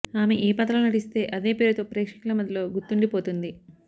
ఆమె ఏ పాత్రలో నటిస్తే అదే పేరుతో ప్రేక్షకుల మదిలో గుర్తుండిపోతుంది